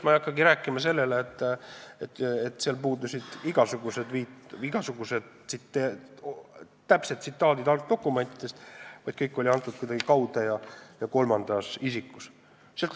Ma ei hakkagi rääkima sellest, et lisaks puudusid raportis igasugused täpsed tsitaadid algdokumentidest, kõik oli kirjas kuidagi kaude ja kolmandas isikus.